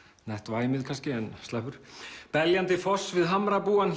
nett væmið kannski en sleppur beljandi foss við hamrabúann